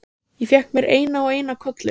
Ég fékk mér eina og eina kollu.